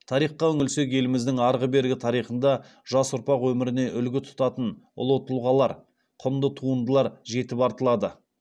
тарихқа үңілсек еліміздің арғы бергі тарихында жас ұрпақ өміріне үлгі тұтатын ұлы тұлғалар құнды туындылар жетіп артылады